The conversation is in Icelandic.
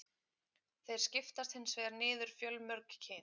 Þeir skiptast hins vegar einnig niður fjölmörg kyn.